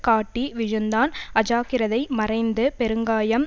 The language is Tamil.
காட்டி விழுந்தான் அஜாக்கிரதை மறைந்து பெருங்காயம்